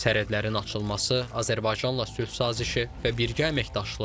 Sərhədlərin açılması, Azərbaycanla sülh sazişi və birgə əməkdaşlıq.